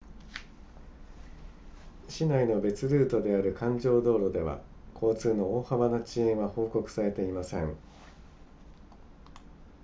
市内の別ルートである環状道路では交通の大幅な遅延は報告されていません